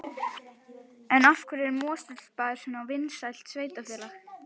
En af hverju er Mosfellsbær svona vinsælt sveitarfélag?